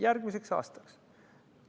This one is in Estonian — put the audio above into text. Järgmiseks aastaks!